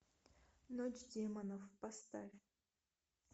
ночь демонов поставь